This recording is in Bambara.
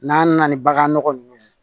N'an nana ni bagan nɔgɔ ninnu ye